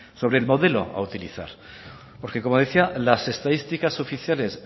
sobre el modelo a utilizar porque como decía las estadísticas oficiales